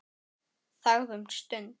Þagði um stund.